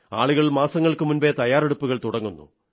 ആളുകൾ മാസങ്ങൾക്കു മുമ്പേ തയ്യാറെടുപ്പുകൾ തുടങ്ങുന്നു